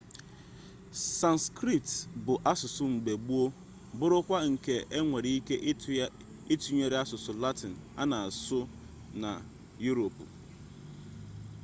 sanskrit bụ asụsụ mgbe gboo bụrụkwa nke enwere ike ịtụnyere asụsụ latịn a na asụ na yuropu